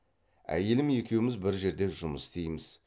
әйелім екеуміз бір жерде жұмыс істейміз